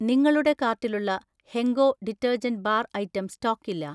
നിങ്ങളുടെ കാർട്ടിലുള്ള Henko detergent bar item സ്റ്റോക്കില്ല